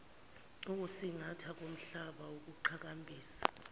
ukusingathwa komhlaba ukuqhakambisa